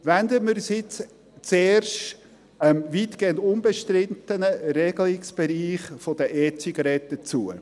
Wenden wir uns zuerst dem weitgehend unbestrittenen Regelungsbereich der E-Zigaretten zu.